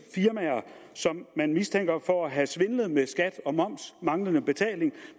firmaer som man mistænker for at have svindlet med skat og moms i af manglende betaling